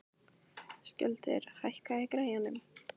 Skjöldur, hækkaðu í græjunum.